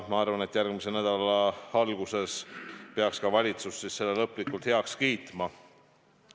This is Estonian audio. Ma arvan, et järgmise nädala alguses peaks ka valitsus selle lõplikult heaks kiitma.